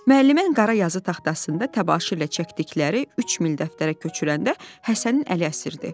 Müəllimənin qara yazı taxtasında təbaşir ilə çəkdikləri üç mil dəftərə köçürəndə Həsənin əli əsirdi.